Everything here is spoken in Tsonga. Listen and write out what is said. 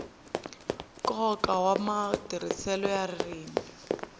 nkoka wa matirhiselo ya ririmi